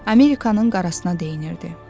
Amerikanın qarasına deyinirdi.